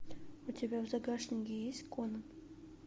у тебя в загашнике есть конон